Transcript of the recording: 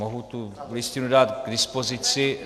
Mohu tu listinu dát k dispozici.